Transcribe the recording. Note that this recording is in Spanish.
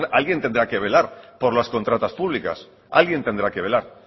alguien tendrá que velar por las contratas públicas alguien tendrá que velar